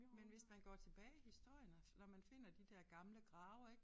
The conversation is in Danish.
Men hvis man går tilbage i historien og når man finder de der gamle grave ik